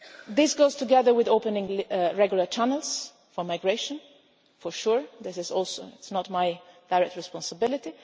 today. This goes together with opening regular channels for migration, for sure, this also is not my direct responsibility.